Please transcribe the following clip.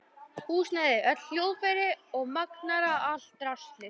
Húsnæði, öll hljóðfæri og magnara, allt draslið.